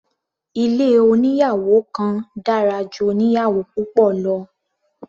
Ilé oníyàwò kan dára ju oníyàwò púpọ̀ lọ.